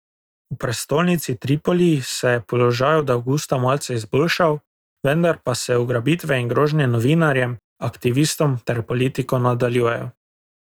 V prestolnici Tripoli se je položaj od avgusta malce izboljšal, vendar pa se ugrabitve in grožnje novinarjem, aktivistom ter politiko nadaljujejo.